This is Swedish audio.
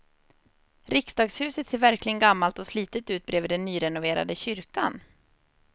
Riksdagshuset ser verkligen gammalt och slitet ut bredvid den nyrenoverade kyrkan.